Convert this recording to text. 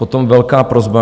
Potom velká prosba.